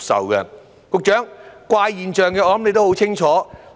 局長，就着怪現象，我相信你都很清楚。